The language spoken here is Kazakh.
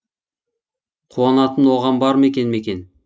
қуанатын оған бар ма екен мекен